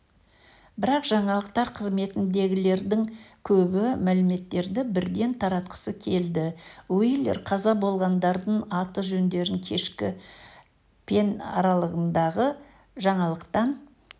бірақ жаңалықтар қызметіндегілердің көбі мәліметтерді бірден таратқысы келді уилер қаза болғандардың аты-жөндерін кешкі пен аралығындағы жаңалықтан